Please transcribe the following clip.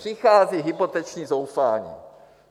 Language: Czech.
Přichází hypoteční zoufání.